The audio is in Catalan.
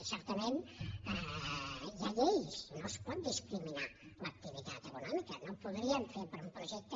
i certament hi ha lleis no es pot discriminar l’activitat econòmica no ho podríem fer per un projecte